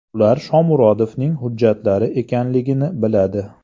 Ular Shomurodovning hujjatlari ekanligini biladi.